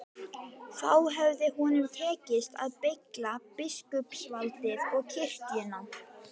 Þá hefði honum tekist að beygja biskupsvaldið og kirkjuna.